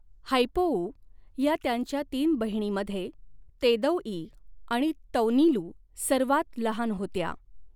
हैपोऊ हया त्यांच्या तीन बहिणीमध्ये तेदौई आणि तौनीलु सर्वांत लहान होत्या.